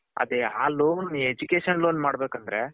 ಅದೇ ಆ loan education loan ಮಾಡ್ಬೇಕ್ ಅಂದ್ರೆ.